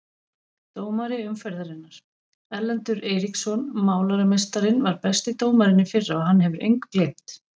Dómari umferðarinnar: Erlendur Eiríksson Málarameistarinn var besti dómarinn í fyrra og hann hefur engu gleymt.